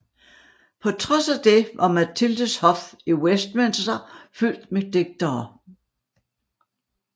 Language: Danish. På trods af det var Matildes hof i Westminster fyldt med digtere